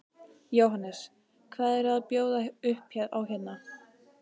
Jóhannes: Hvað eru að bjóða upp á hérna?